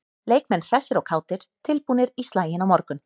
Leikmenn hressir og kátir- tilbúnir í slaginn á morgun.